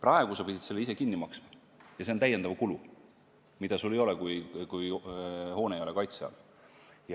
Seni pidid sa selle ise kinni maksma ja see on täiendav kulu, mida sul ei teki, kui hoone ei ole kaitse all.